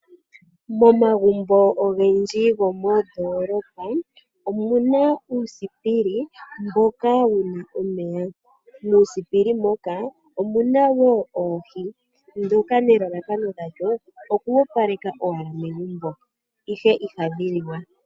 Momagumbo ogendji gomoondoolopa omuna uusiipili mboka wuna omeya, muusiipili moka omuna wo oohi dhoka elalakano lyadho oku wapaleka momagumbo ihe ihadhi liwa